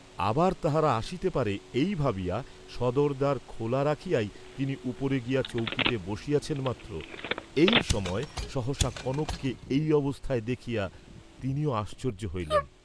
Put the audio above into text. আবার তাহারা আসিতে পারে এই ভাবিয়া সদর দ্বার খোলা রাখিয়াই তিনি উপরে গিয়া চৌকিতে বসিয়াছেন মাত্র এই সময় সহসা কনককে এই অবস্থায় দেখিয়া তিনিও আশ্চর্য্য হইলেন।